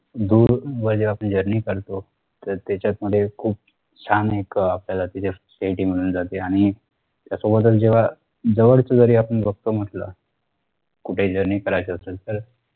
दूर मध्ये आपली journey करतो तर त्याच्यात मध्ये खूप छान एक अह आपल्याला तिथे मिळून जाते आणि जेव्हा जवळच जरी आपण बघतो म्हटलं कुठे journey करायचा असेल तर